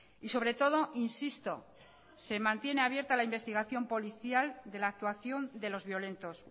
y sobre todo insisto se mantiene abierta la investigación policial de la actuación de los violentos